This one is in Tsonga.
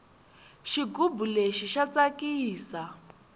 xigubu lexi xa tsakisa